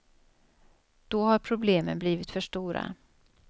Då har problemen blivit för stora.